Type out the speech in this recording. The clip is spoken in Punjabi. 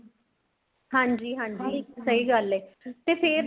ਹਾਂਜੀ ਹਾਂਜੀ ਸਹੀ ਗੱਲ ਏ ਤੇ ਫ਼ੇਰ